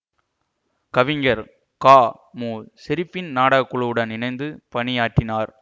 கவிஞர் கா மு ஷெரீபின் நாடக குழுவுடன் இணைந்து பணியாற்றினார்